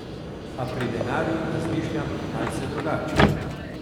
A pri denarju razmišljam malce drugače.